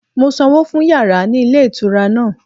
Mo sanwó fún yàrá ní ilé ìtura náà